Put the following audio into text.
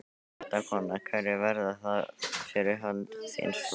Fréttakona: Hverjir verða það fyrir hönd þíns flokks?